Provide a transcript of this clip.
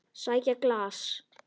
Sæki glas.